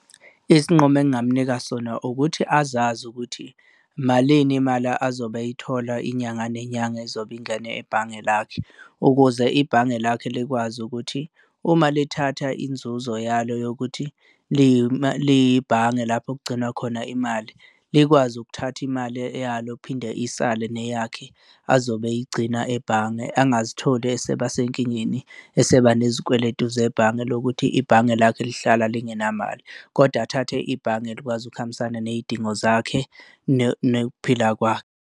Isinqumo engingamunika sona ukuthi azazi ukuthi malini imali azobe eyithola inyanga nenyanga ezobe ingene ebhange lakhe ukuze ibhange lakhe likwazi ukuthi uma lithatha inzuzo yalo yokuthi liyibhange lapho kugcinwa khona imali, likwazi ukuthatha imali eyalo phinde isale neyakhe azobe eyigcina ebhange, angazitholi eseba sekingeni, eseba nezikweletu zebhange lokuthi ibhange lakhe lihlala lingenamali, kodwa athathe ibhange elikwazi ukuhambisana ney'dingo zakhe nokuphila kwakhe.